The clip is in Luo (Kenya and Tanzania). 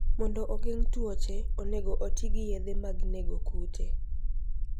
Mondo ogeng' tuoche, onego oti gi yedhe mag nego kute.